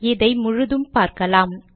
இதை முழுதும் பார்க்கலாம்